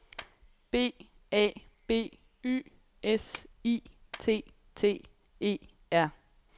B A B Y S I T T E R